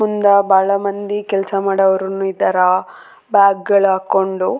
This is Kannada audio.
ಇದೊಂದು ದೊಡ್ಡ ಆಫಿಸ್‌ ಹಂಗ ಅನ್ಸಕತ್ತದ.